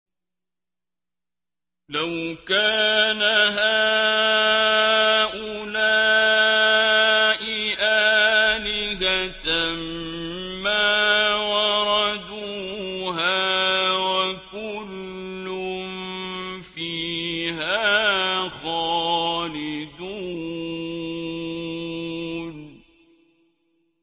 لَوْ كَانَ هَٰؤُلَاءِ آلِهَةً مَّا وَرَدُوهَا ۖ وَكُلٌّ فِيهَا خَالِدُونَ